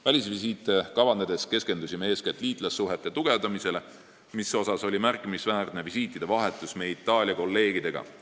Välisvisiite kavandades keskendusime eeskätt liitlassuhete tugevdamisele, mille puhul väärib märkimist visiitide vahetus meie Itaalia kolleegidega.